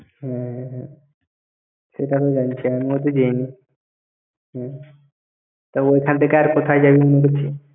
হ্যাঁ। সেটা আমি জানি, সে আমিও তো যাইনি। তা ওখান থেকে আর কোথায় যাবি ?